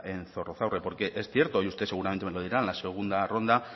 en zorrozaurre porque es cierto y usted seguramente me lo dirá en la segunda ronda